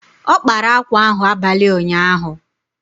Ọ kpara akwa ahụ abalị ụnyaahụ.